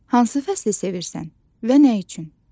Hansı fəsli sevirsən və nə üçün?